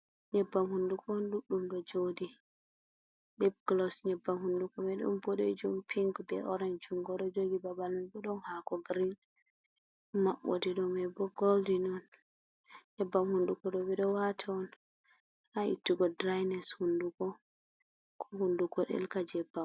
Nyebbam hunduko o ɗuɗɗum ɗo joɗi lip glos, nyebbam hunduko mai don boɗejum, pink, be orant jungo ɗo jogi babal mai bo ɗon hako green maɓɓode ɗo mai bo goldi on, nyebbam hunduko ɗo ɓe ɗo wata on ha ittugo drines hundugo ko hundugo ɗelka jea.